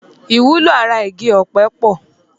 Ìwúlò ara igi ọ̀pẹ pọ̀